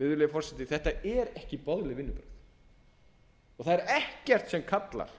virðulegi forseti þetta eru ekki boðleg vinnubrögð og það er ekkert sem kallar